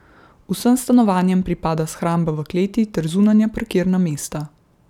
Vsem stanovanjem pripada shramba v kleti ter zunanja parkirna mesta.